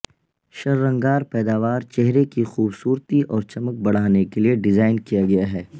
شررنگار پیداوار چہرے کی خوبصورتی اور چمک بڑھانے کے لئے ڈیزائن کیا گیا ہے